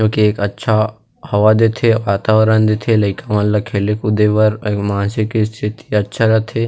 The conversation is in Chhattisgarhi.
जो कि एक अच्छा हवा देथे वातावरण देथे लइका मन ला खेले खुदे बर मानसिक स्थिति अच्छा रथे।